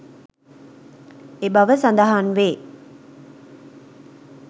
එබව සදහන්වේ